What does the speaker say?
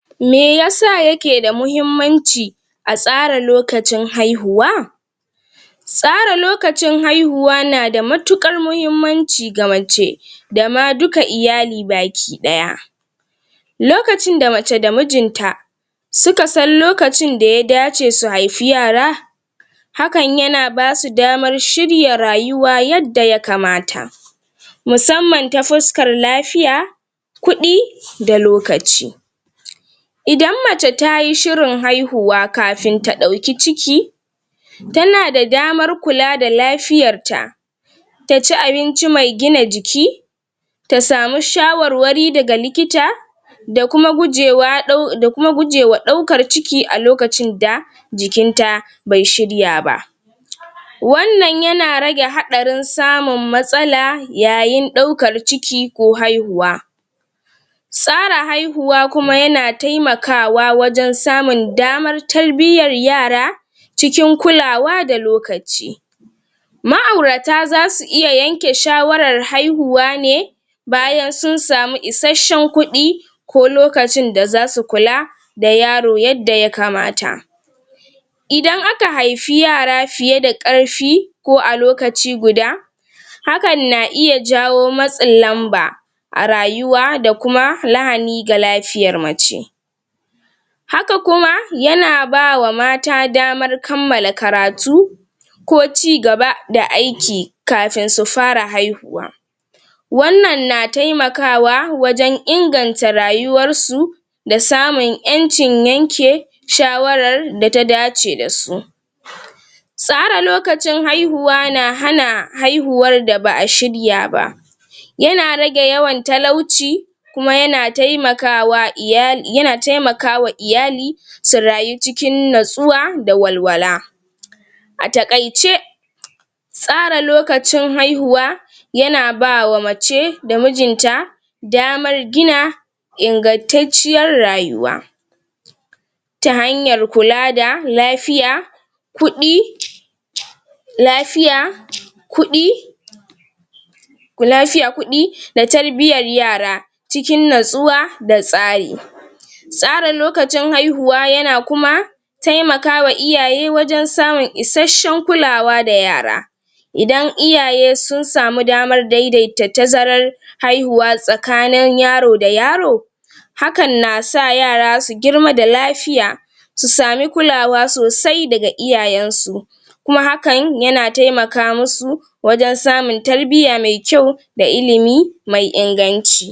Meyasa yakeda muhimmanci a tsara lokacin haihuwa Tsara lokacin haihuwa nada matuƙar muhimmanci ga mace dama duka iyali baki ɗaya. Lokacin da mace da mijinta sukasan lokacin daya dace su haifi yara hakan yana basu damar shirya rayuwa yadda ya kamata musamman ta fuskar lafiya kuɗi da lokaci Idan mace tayi shirin haihuwa kafin ta ɗauki ciki tanada damar kula da lafiyarta taci abinci mai gina jiki ta samu shawarwari daga likita da kuma gujewa ɗau, da kuma gujewa ɗaukar ciki a lokacin da jikinta bai shirya ba wannan yana rage haɗarin samun matsala yayin ɗaukar ciki ko haihuwa Tsara haihuwa kuma yana taimakawa wajen samun damar tarbiyyar yara cikin kulawa da lokaci Ma'aurata zasu iya yanke shawarar haihuwa ne bayan sun samu isashshen kuɗi ko lokacin da zasu kula da yaro yadda ya kamata Idan aka haifi yara fiyeda ƙarfi ko a lokaci guda hakan na iya jawo matsin lamba a rayuwa, da kuma lahani ga lafiyar mace Haka kuma, yana bawa mata damar kammala karatu ko cigaba da aiki kafin su fara haihuwa wannan na taimakawa wajen inganta rayuwarsu da samun ƴancin yanke shawarar da ta dace dasu. Tsara lokacin haihuwa na hana haihuwar da ba a shirya ba Yana rage yawan talauci kuma yana taimakawa iya, yana taimakawa iyali su rayu cikin natsuwa da walwala A taƙaice tsara lokacin haihuwa yana bawa mace da mijinta damar gina ingantacciyar rayuwa ta hanyar kula da lafiya kuɗi lafiya kuɗi ku lafiya, kuɗi da tarbiyyar yara cikin natsuwa da tsari Tsara lokacin haihuwa yana kuma taimakawa iyaye wajen samun isashshen kulawa da yara Idan iyaye sun samu damar daidaita tazarar haihuwa tsakanin yaro da yaro hakan nasa yara su girma da lafiya su sami kulawa sosai daga iyayensu kuma hakan yana taimaka musu wajen samun tarbiyya mai kyau da ilimi mai inganci.